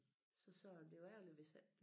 Så sagde jeg det var ærligt hvis ikke